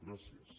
gràcies